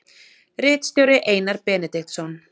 Ritstjóri Einar Benediktsson.